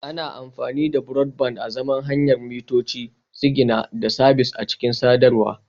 Ana amfani da Broadband azaman hanyar yada mitoci, sigina da sabis a cikin sadarwa